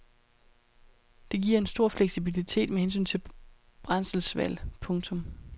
Det giver en stor fleksibilitet med hensyn til brændselsvalg. punktum